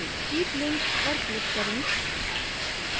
keep link पर click करें